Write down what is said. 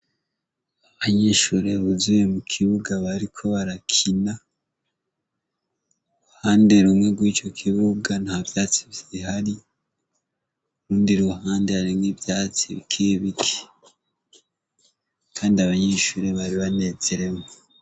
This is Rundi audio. Abanyishure buzuye mu kibuga bariko barakina ruhande rumwe rw'ico kibuba nta vyatsi vyihari rundi ruhande aremgwe ivyatsi bikebiki, kandi abanyishure bari banezeremwo.